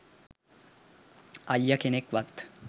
අයිය කෙනෙක් වත්